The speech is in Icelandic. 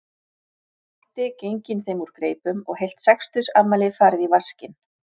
Matti genginn þeim úr greipum og heilt sextugsafmæli farið í vaskinn